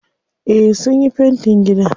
Eh sunyi fentin gida.